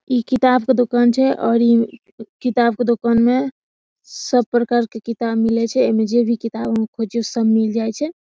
इ किताब के दुकान छै और इ किताब के दुकान में सब प्रकार के किताब मिले छै | एमे जे भी किताब खोजियो सब एमे मिल जाय छै ।